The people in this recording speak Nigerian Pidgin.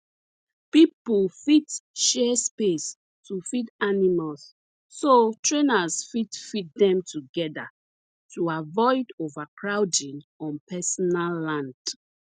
people fit share space to feed animals so trainers fit feed them together to avoid overcrowding on personal land